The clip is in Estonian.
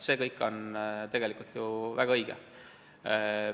See kõik on tegelikult ju väga õige.